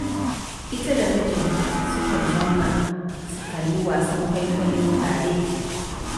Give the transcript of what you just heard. Ita da mijinta sukan zauna, su kalli wasan kwaikwayo tare.